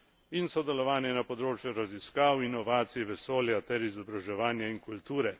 in sodelovanje na področjih raziskav, inovacij, vesolja ter izobraževanja in kulture.